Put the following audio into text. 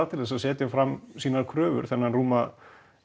til að setja fram sínar kröfur um þennan rúma